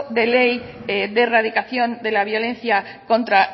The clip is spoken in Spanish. de ley de erradicación de la violencia contra